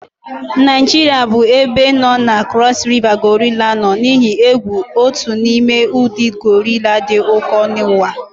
Naijiria bụ ebe nọ na Cross River gorilla nọ n'ihe egwu, otu n'ime ụdị gorilla dị ụkọ n'ụwa